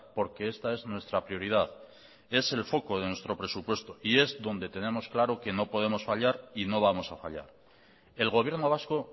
porque esta es nuestra prioridad es el foco de nuestro presupuesto y es donde tenemos claro que no podemos fallar y no vamos a fallar el gobierno vasco